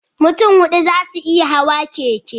Mutun hudu zasu iya Hawa keke